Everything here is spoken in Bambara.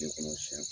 De kɔnɔ siɲɛ